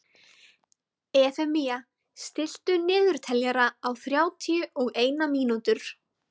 Efemía, stilltu niðurteljara á þrjátíu og eina mínútur.